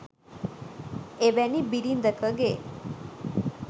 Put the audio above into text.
එවැනි බිරිඳකගේ